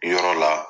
Yɔrɔ la